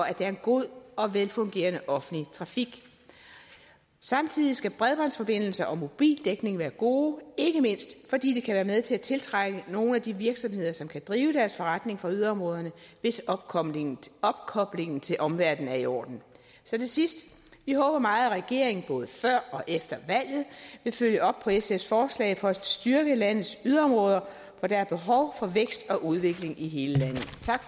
at der er en god og velfungerende offentlig trafik samtidig skal bredbåndsforbindelsen og mobildækningen være god ikke mindst fordi det kan være med til at tiltrække nogle af de virksomheder som kan drive deres forretning fra yderområderne hvis opkoblingen opkoblingen til omverdenen er i orden til sidst vi håber meget at regeringen både før og efter valget vil følge op på sfs forslag for at styrke landets yderområder for der er behov for vækst og udvikling i hele landet